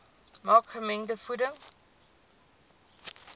maak gemengde voeding